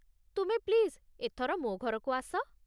ତୁମେ ପ୍ଲିଜ୍ ଏଥର ମୋ ଘରକୁ ଆସ ।